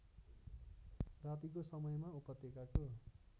रातिको समयमा उपत्यकाको